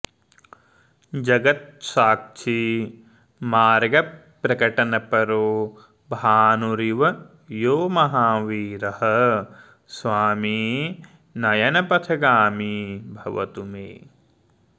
जगत्साक्षी मार्गप्रकटनपरो भानुरिव यो महावीरः स्वामी नयनपथगामी भवतु मे